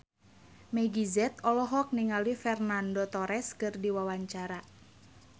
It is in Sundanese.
Meggie Z olohok ningali Fernando Torres keur diwawancara